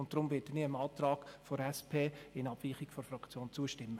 Deswegen werde ich dem Antrag der SP in Abweichung zu meiner Fraktion zustimmen.